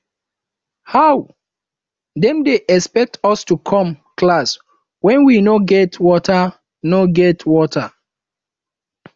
how dem dey expect us to come class wen we no get water no get water